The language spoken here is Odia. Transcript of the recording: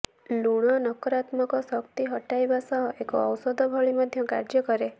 ଲୁଣ ନକାରାତ୍ମକ ଶକ୍ତି ହଟାଇବା ସହ ଏକ ଔଷଧ ଭଳି ମଧ୍ୟ କାର୍ଯ୍ୟ କରେ